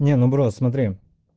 не ну бро смотри